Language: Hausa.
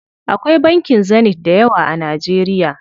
Akwai bankin Zenith dayawa a Najeriya.